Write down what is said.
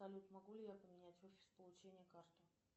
салют могу ли я поменять офис получения карты